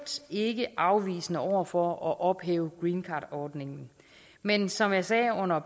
ikke afvisende over for at ophæve greencardordningen men som jeg sagde under